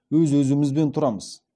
өз өзімізбен тұрамыз